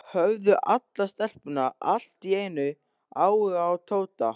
Höfðu allar stelpur allt í einu áhuga á Tóta?